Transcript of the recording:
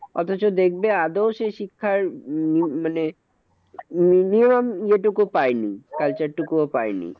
অথচ দেখবে আদেও সেই শিক্ষার উম মানে minimum যেটুকু পায়নি culture টুকুও পায়নি।